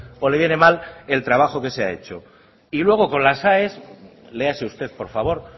o le viene mal el trabajo que se ha hecho y luego con las aes léase usted por favor